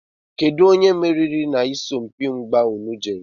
Kedụ onye meriri na isọmpi mgbà ụnụ jere?